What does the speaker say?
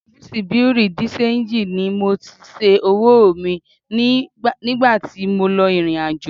Ọfíísì Bùréú dì ṣenjì ni mo ti ṣẹ́ owó mi nígbà tí mò ń lọ ìrìnàjò